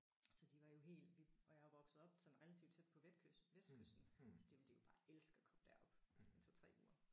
Så de var jo helt vi og jeg er jo vokset op sådan relativt tæt på Vestkysten Vestkysten så det ville de jo bare elske at komme derop i 2 3 uger